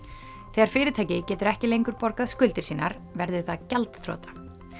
þegar fyrirtæki getur ekki lengur borgað skuldir sínar verður það gjaldþrota